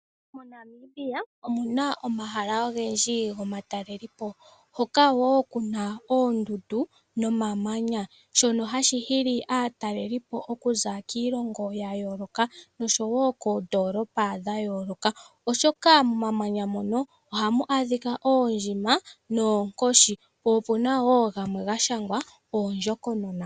MoNamibia omu na omahala ogendji gomatalele po, hoka wo ku na oondundu nomamanya, shono hashi hili aatalelipo okuza kiilongo ya yooloka osho wo koondoolopa dha yooloka, oshoka momamanya mono ohamu adhika oondjima noonkoshi. Opu na wo gamwe ga shangwa oondjokonona.